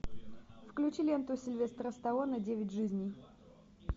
включи ленту сильвестра сталлоне девять жизней